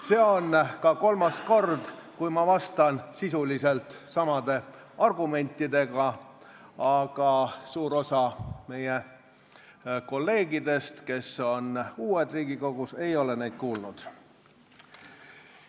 See on ka kolmas kord, kui ma vastan sisuliselt samade argumentidega, aga suur osa meie kolleegidest, kes on uued Riigikogus, ei ole neid kuulnud.